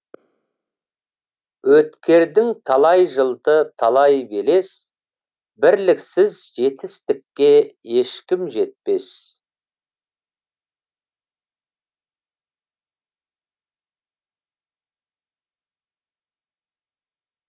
өткердің талай жылды талай белес бірліксіз жетістікке ешкім жетпес